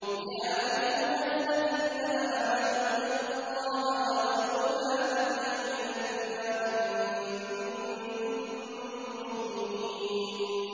يَا أَيُّهَا الَّذِينَ آمَنُوا اتَّقُوا اللَّهَ وَذَرُوا مَا بَقِيَ مِنَ الرِّبَا إِن كُنتُم مُّؤْمِنِينَ